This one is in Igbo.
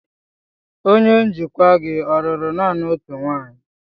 Onye njikwa gị ọ lụrụ naanị otu nwanyị?